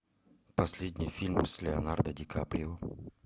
последний фильм с леонардо ди каприо